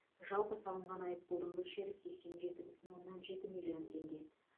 жалпы салынған айыппұлдың мөлшері сексен жеті бүтін оннан жеті миллион теңге